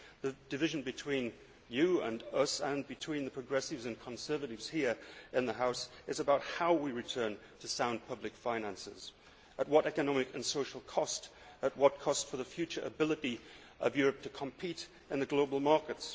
The division between you and us and between progressives and conservatives here in the House is about how we return to sound public finances, at what economic and social cost, at what cost for the future ability of Europe to compete in a global market.